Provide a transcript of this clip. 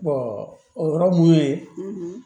o yɔrɔ mun ye